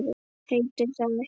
Heitir það ekki